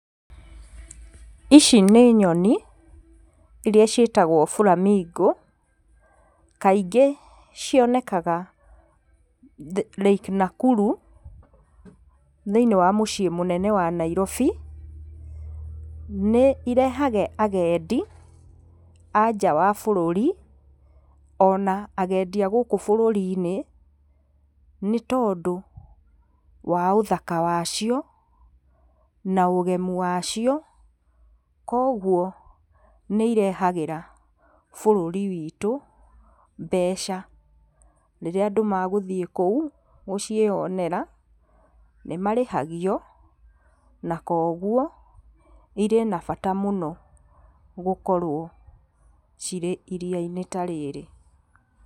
Ici nĩ nyoni, iria ciĩtagwo flamingo kaingĩ cionekanaga Lake Nakuru, thĩinIĩ wa mũciĩ mũnene wa Nairobi, nĩ irehaga agendi, a nja wa bũrũri, ona agendi a gũkũ bũrũrinĩ, nĩ tondũ wa ũtaka wacio na ũgemu wacio, koguo nĩ irehagĩra bũrũri witũ, mbeca rĩrĩa andũ magũthiĩ kũu, gũciĩonera, nĩ marĩhagio, na koguo, irĩ na bata mũno gũkorwo cirĩ iria-inĩ ta rĩrĩ.